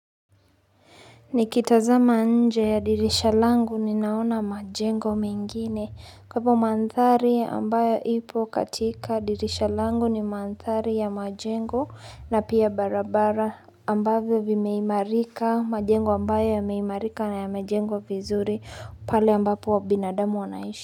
Nikitazama nje ya dirisha langu ni naona majengo mengine kwaivo mandhari ambayo ipo katika dirisha langu ni mandhari ya majengo na pia barabara ambavyo vimeimarika majengo ambayo yameimarika na yamejengwa vizuri pale ambapo wabinadamu wanaishi.